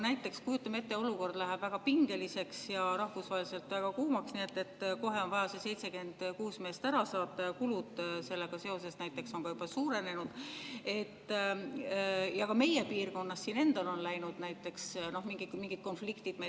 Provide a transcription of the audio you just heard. Näiteks kujutame ette, et olukord läheb väga pingeliseks ja rahvusvaheliselt väga kuumaks, nii et kohe on vaja need 76 meest ära saata ja kulud on sellega seoses juba suurenenud, ja ka meie piirkonnas ähvardavad meid näiteks mingid konfliktid.